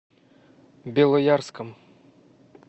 белоярском